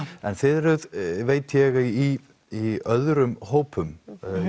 en þið eruð veit ég í í öðrum hópum